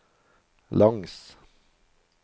langs